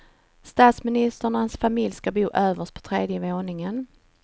Statsministern och hans familj ska bo överst på tredje våningen.